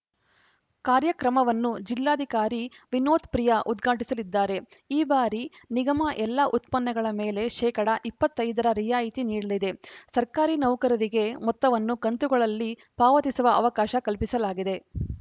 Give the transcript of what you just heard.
ಕಾರ್ಯಕ್ರಮವನ್ನು ಜಿಲ್ಲಾಧಿಕಾರಿ ವಿನೋತ್‌ ಪ್ರಿಯಾ ಉದ್ಘಾಟಿಸಲಿದ್ದಾರೆ ಈ ಬಾರಿ ನಿಗಮ ಎಲ್ಲ ಉತ್ಪನ್ನಗಳ ಮೇಲೆ ಶೇಕಡಾ ಇಪ್ಪತ್ತ್ ಐದ ರ ರಿಯಾಯಿತಿ ನೀಡಲಿದೆಸರ್ಕಾರಿ ನೌಕರರಿಗೆ ಮೊತ್ತವನ್ನು ಕಂತುಗಳಲ್ಲಿ ಪಾವತಿಸುವ ಅವಕಾಶ ಕಲ್ಪಿಸಲಾಗಿದೆ